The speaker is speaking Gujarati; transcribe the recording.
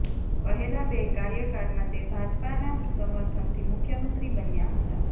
પહેલા બે કાર્યકાળમાં તે ભાજપાના સમર્થનથી મુખ્ય મંત્રી બન્યા હતાં